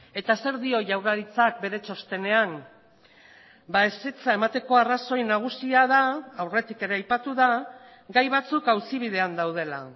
eta zer dio jaurlaritzak bere txostenean ezetza emateko arrazoi nagusia da aurretik ere aipatu da gai batzuk auzi bidean daudela